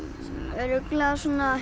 örugglega